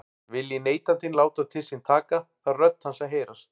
Vilji neytandinn láta til sín taka þarf rödd hans að heyrast.